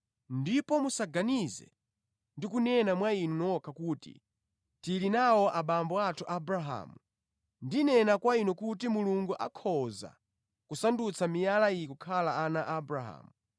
Ndipo musaganize ndi kunena mwa inu nokha kuti, ‘Tili nawo abambo athu Abrahamu.’ Ndinena kwa inu kuti Mulungu akhoza kusandutsa miyala iyi kukhala ana a Abrahamu.